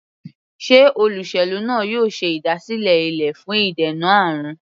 Sé olóṣèlú náà yóò ṣe ìdásílẹ̀ ilé fún ìdènà àrùn?